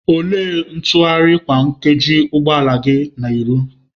Olee ntụgharị ntụgharị kwa nkeji ụgbọ ala gị na-eru?